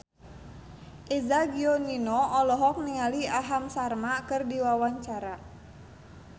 Eza Gionino olohok ningali Aham Sharma keur diwawancara